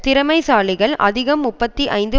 திறமைசாலிகள் அதிகம் முப்பத்தி ஐந்து